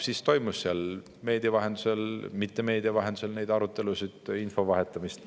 Siis toimus nii meedia vahendusel kui ka mitte meedia vahendusel arutelusid ja info vahetamist.